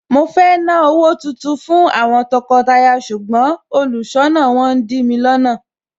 Mo fẹ́ ná owó tuntun fún àwọn tọkọtaya ṣùgbọ́n olùṣọ́nà wọn ń dìmi lọ́nà.